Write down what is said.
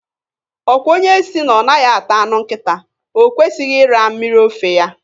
Ọkwa onye sị na ọ naghị ata anụ nkịta, o kwesịghị ịra mmiri ofe ya?